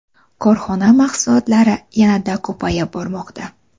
Korxona mahsulotlari yanada ko‘payib bormoqda.